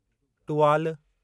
Tuvalu